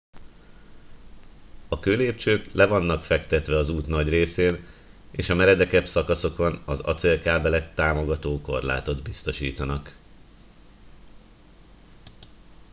a kőlépcsők le vannak fektetve az út nagy részén és a meredekebb szakaszokon az acélkábelek támogató korlátot biztosítanak